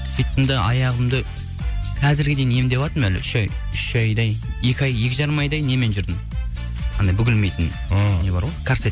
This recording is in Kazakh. сөйттім де аяғымды қазірге дейін емдеватырмын әлі үш айдай екі жарым айдай немен жүрдім анау бүгілмейтін ы не бар ғой карсет